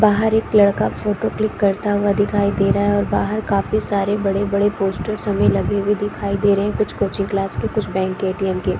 बाहर एक लड़का फोटो क्लिक करता हुआ दिखाई दे रहा है और बाहर काफी सारे बड़े-बड़े पोस्टर्स हमें लगे हुए हमें दिखाई दे रहे है कुछ कोचिंग क्लास के कुछ बैंक के ए_टी_एम के--